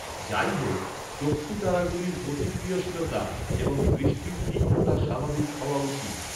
যাইহোক, চক্ষুতারাগুলির প্রতিক্রিয়াশীলতা এবং দৃষ্টির তীক্ষ্ণতা স্বাভাবিক হওয়া উচিত।